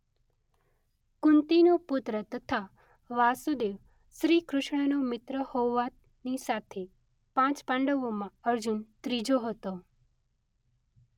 કુંતીનો પુત્ર તથા વાસુદેવ શ્રી કૃષ્ણનો મિત્ર હોવાની સાથે પાંચ પાંડવોમાં અર્જુન ત્રીજો હતો.